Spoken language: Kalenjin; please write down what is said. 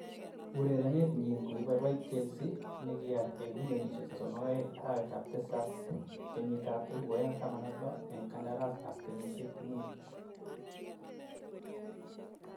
Urerenet nyin kokiboiboit Chelsea negial eng milionisiek �32 arawet ab tisab 2016 eng kandaras ab kenyisiek mut.